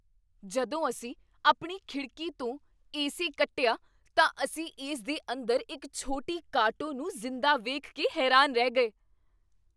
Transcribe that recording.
ਜਦੋਂ ਅਸੀਂ ਆਪਣੀ ਖਿਡ਼ਕੀ ਤੋਂ ਏ ਸੀ ਕੱਟਿਆ, ਤਾਂ ਅਸੀਂ ਇਸ ਦੇ ਅੰਦਰ ਇੱਕ ਛੋਟੀ ਕਾਟੋ ਨੂੰ ਜਿੰਦਾ ਵੇਖ ਕੇ ਹੈਰਾਨ ਰਹਿ ਗਏ।